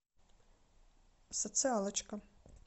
социалочка